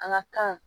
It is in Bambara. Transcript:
An ka kan